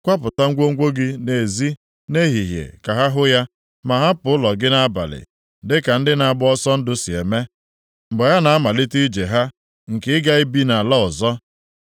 Kwapụta ngwongwo gị nʼezi nʼehihie ka ha hụ ya. Ma hapụ ụlọ gị nʼabalị dịka ndị na-agba ọsọ ndụ si eme, mgbe ha na-amalite ije ha, nke ịga ibi nʼala ọzọ.